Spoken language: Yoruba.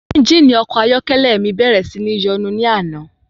Ẹ́ngìnì ọkọ̀ ayọ́kẹ́lẹ́ mi bẹ̀rẹ̀ sí ní yọnu ní àná.